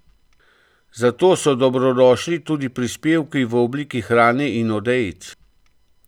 Zato so dobrodošli tudi prispevki v obliki hrane in odejic.